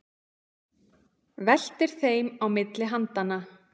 Veltir þeim á milli handanna.